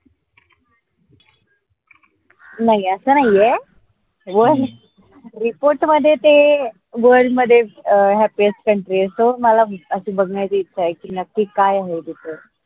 नाई अस नाई ए report मध्ये ते world मध्ये अं happiestcountry ए so मला अस बघन्याची इच्छा आहे की, नक्की काय आहे तिथे?